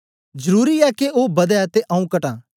जरुरी ऐ के ओ बदै ते आऊँ कटां